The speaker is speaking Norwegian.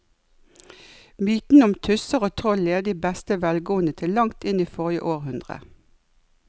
Mytene om tusser og troll levde i beste velgående til langt inn i forrige århundre.